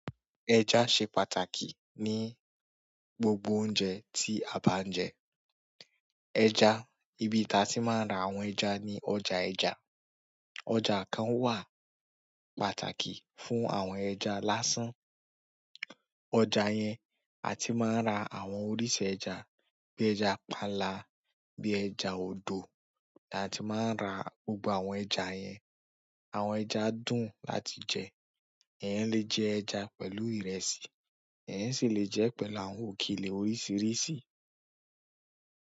Ẹja ṣe pàtàkì ní gbogbo oúnjẹ tí a bá ń jẹ. Ẹja, ibi tí a ti máa ń ra àwọn ẹja ni ọjà ẹja. Ọjà kan wà pàtàkì fún àwọn ẹja lásán. Ọjà yẹn a ti máa ń ra àwọn oríṣi ẹja bí ẹja pánlá, bí ẹja odò, á ti máa ń ra gbogbo àwọn ẹja yen yẹn. Àwọn ẹja dùn láti jẹ. Ẹeyan le jẹ ẹja pẹ̀lú ìrẹsì, ẹeyan sì le jẹ ẹ́ pẹ̀lú àwọn òkèlè oríṣìíríṣìí.